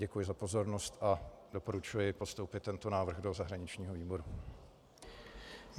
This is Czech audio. Děkuji za pozornost a doporučuji postoupit tento návrh do zahraničního výboru.